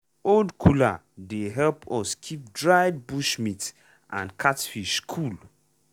old cooler dey help us keep dried bush meat and catfish cool.